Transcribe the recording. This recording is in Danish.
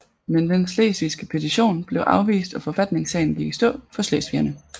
Men den slesvigske petition blev afvist og forfatningssagen gik i stå for slesvigerne